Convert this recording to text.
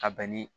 Ka bɛn ni